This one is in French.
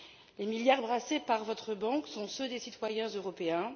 Les milliards brassés par votre banque sont ceux des citoyens européens.